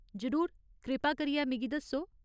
जरूर, कृपा करियै मिगी दस्सो।